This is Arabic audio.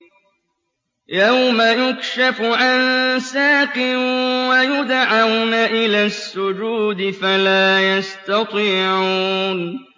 يَوْمَ يُكْشَفُ عَن سَاقٍ وَيُدْعَوْنَ إِلَى السُّجُودِ فَلَا يَسْتَطِيعُونَ